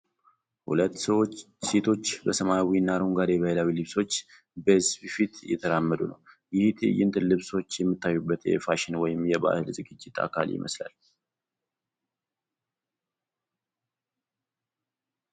ሁለት ሴቶች በሰማያዊና አረንጓዴ ባህላዊ ልብሶች በሕዝብ ፊት እየተራመዱ ነው። ይህ ትዕይንት ልብሶች የሚታዩበት የፋሽን ወይም የባህል ዝግጅት አካል ይመስላል።